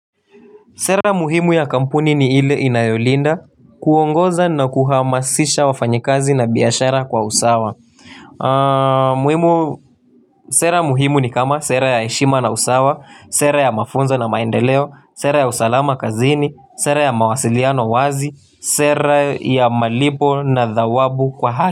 Sera muhimu ya kampuni ni ile inayolinda, kuongoza na kuhamasisha wafanyakazi na biashara kwa usawa. Sera muhimu ni kama; sera ya heshima na usawa, sera ya mafunzo na maendeleo, sera ya usalama kazini, sera ya mawasiliano wazi, sera ya malipo na dhawabu kwa hali.